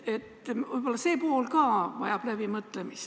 Võib-olla see pool ka vajab läbimõtlemist.